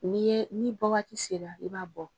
N'i ye, n'i bɔ waati sera i b'a bɔ.